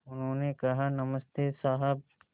उन्होंने कहा नमस्ते साहब